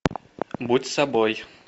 будь собой